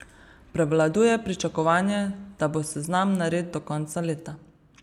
Prevladuje pričakovanje, da bo seznam nared do konca leta.